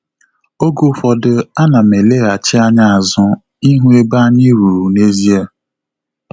Oge ụfọdụ ana m eleghachi anya azu ihu ebe anyị ruru n'ezie